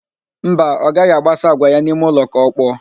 Mba, ọ gaghị agbasa àgwà ya n'ime ụlọ ka ọkpọọ